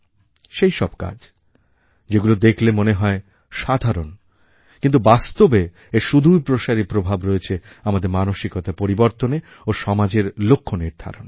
সেইসব কাজ যেগুলো দেখলে মনে হয় সাধারণ কিন্তু বাস্তবে এর সুদূরপ্রসারী প্রভাব রয়েছে আমাদের মানসিকতার পরিবর্তনে ও সমাজের লক্ষ্য নির্ধারণে